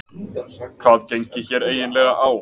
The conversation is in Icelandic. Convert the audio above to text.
Hvað gengi hér eiginlega á?